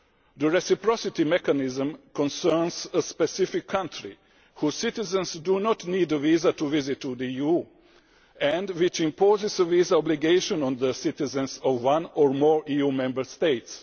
The reciprocity mechanism concerns a specific country whose citizens do not need a visa to visit the EU and which imposes a visa obligation on the citizens of one or more EU Member States.